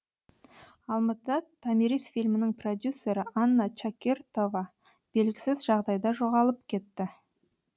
алматыда томирис фильмінің продюсері анна чакиртова белгісіз жағдайда жоғалып кетті